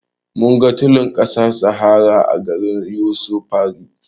Mun ga tulin ƙasar sahara a garin yusufari